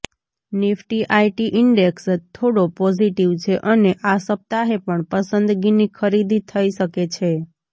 Nifty IT index થોડો positive છે અને આ સપ્તાહે પણ પસંદગીની ખરીદી થઈ શકે છે